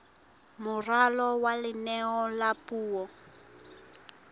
moralo wa leano la puo